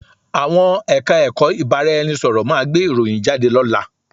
Àwọn Ẹ̀ka-ẹ̀kọ́ ìbárá-ẹni-sọ̀rọ̀ máa gbé ìròyìn jáde lọ́la